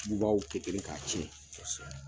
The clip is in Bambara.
Dubaw kɛ kelen k'a tiɲɛ.